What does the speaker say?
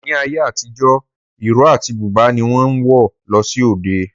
Ní ayé àtijọ́, ìró àti búbà ni wọ́n ń wọ̀ lọ sí òde